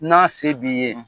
N'a se b'i ye.